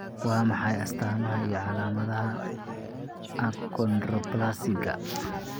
Waa maxay astaamaha iyo calaamadaha Achondroplasiga?